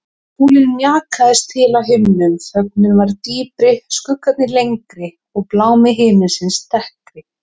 Sólin mjakaðist til á himninum, þögnin varð dýpri, skuggarnir lengri og blámi himinsins dekkri.